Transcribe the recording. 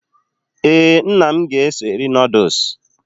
Ee, nna m ga-eso eri nọọdus